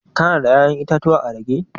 Ka na da ya'yan itatuwa a rage?